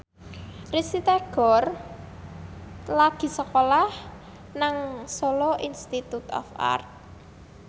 Risty Tagor lagi sekolah nang Solo Institute of Art